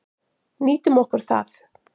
Nýtum okkur það.